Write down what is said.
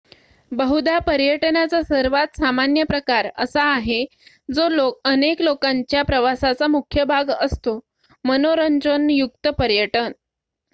बहुधा पर्यटनाचा सर्वात सामान्य प्रकार असा आहे जो अनेक लोकांच्या प्रवासाचा मुख्य भाग असतो मनोरंजन युक्त पर्यटन